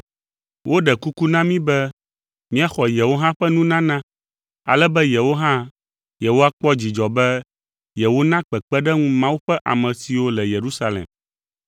Woɖe kuku na mí be míaxɔ yewo hã ƒe nunana ale be yewo hã yewoakpɔ dzidzɔ be yewona kpekpeɖeŋu Mawu ƒe ame siwo le Yerusalem.